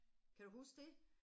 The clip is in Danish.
Kan du huske det?